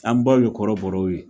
An baw ye kɔrɔbɔrɔw ye